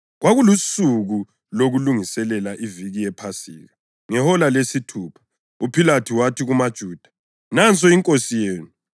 Kwakulusuku lokuLungisela iViki yePhasika, ngehola lesithupha. UPhilathu wathi kumaJuda, “Nansi inkosi yenu.”